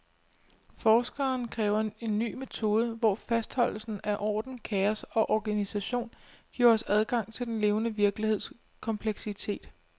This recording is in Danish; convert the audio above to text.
Forskeren kræver en ny metode, hvor fastholdelsen af orden, kaos og organisation giver os adgang til den levende virkeligheds kompleksitet.